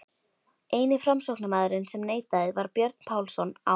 Eini framsóknarmaðurinn sem neitaði var Björn Pálsson á